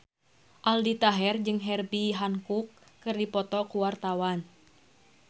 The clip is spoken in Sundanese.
Aldi Taher jeung Herbie Hancock keur dipoto ku wartawan